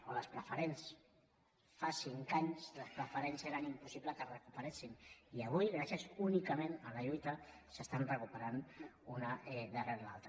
o les preferents fa cinc anys les preferents era impossible que es recuperessin i avui gràcies únicament a la lluita s’estan recuperant una darrere l’altra